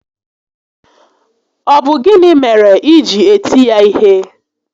Ọ bụ gịnị mere i ji eti ya ihe?